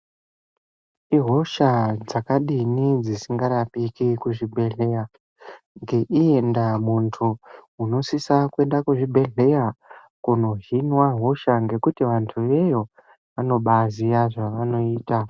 Ihosha dzakadini dzisingarapike kuzvibhehlera ngendaa muntu unosisa kuenda kuzvibhehlera kunohinwa hosha ngekuti vantu veyo vanobaaziya zvaanoita.